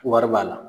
Wari b'a la